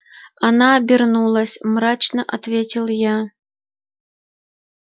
она обернулась мрачно ответил я